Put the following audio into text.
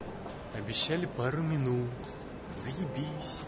обещали пару минут заебись